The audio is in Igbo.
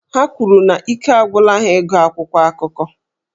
Ha kwuru na ike agwụla ha ịgụ akwụkwọ akụkọ